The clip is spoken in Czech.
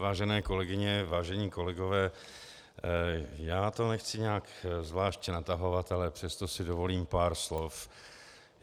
Vážené kolegyně, vážení kolegové, já to nechci nějak zvlášť natahovat, ale přesto si dovolím pár slov.